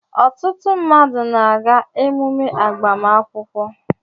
Ọtụtụ mmadụ na-aga emume agbamakwụkwọ